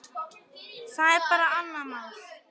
Það er bara annað mál.